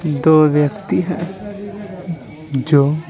दो व्यक्ति हैं जो --